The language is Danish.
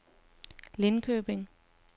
Lindköping